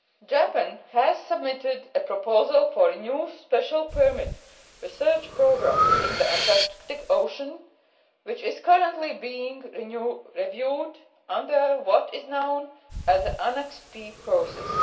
Japan has submitted a proposal for a new special permit research programme in the Antarctic Ocean, which is currently being reviewed under what is known as the ʽAnnex P processʼ.